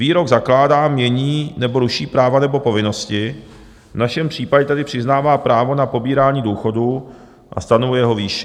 Výrok zakládá, mění nebo ruší práva nebo povinnosti, v našem případě tedy přiznává právo na pobírání důchodu a stanovuje jeho výši.